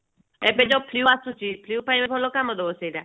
ଏବେ ଯୋଉ flue ଆସୁଛି flue ପାଇଁ ତ ଭଲ କାମ ଦେବ ସେଟା